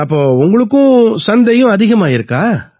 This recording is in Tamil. அப்ப உங்களுக்கு சந்தையும் அதிகமாயிருக்கா